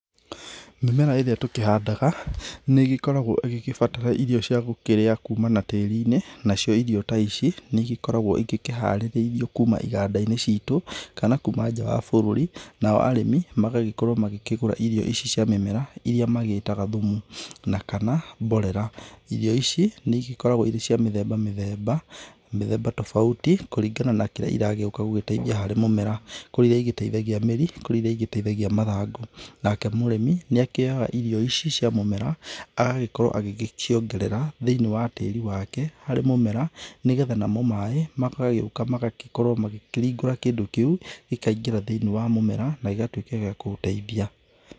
Mĩmera ĩrĩa tũkĩhandaga nĩ gĩkoragwo ĩgĩgĩbatara irio cia gũkũrĩa kuma na tĩrinĩ, nacio irio ta ici nĩigĩkoragwo igĩkĩharĩrĩirio kuma iganda-inĩ citũ kana kuma nja wa bũrũri, nao arĩmi magagĩkorwo magĩkĩgũra irio ici cia mĩmera iria magĩtaga thumu na kana mborera. Irio ici nĩ ĩgĩkoragwo irĩ cia mĩthemba mĩthemba, mĩthemba tofauti kũringana na kĩrĩa iragĩũka gũgĩteithia harĩ mũmera. kũrĩ iria igĩteithagia mĩri, kũrĩ iria ĩteithagia mathangũ. Nake mũrĩmi nĩ akĩoya irio ici cia mũmera agagĩkorwo agĩkĩongerera thĩiniĩ wa tĩri wake harĩ mũmera nĩgetha namo maĩ magagĩũka magagĩkorwo makĩringũra kĩndũ kĩu gĩkaingĩra thĩiniĩ wa mũmera na igatuĩka gĩa kũũteithia.